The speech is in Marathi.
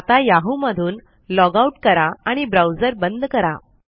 आता याहू मधून लॉग आउट करा आणि ब्राउजर बंद करा